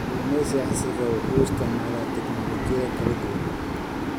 Kalluumeysiga casriga ah wuxuu isticmaalaa teknoolojiyad kala duwan.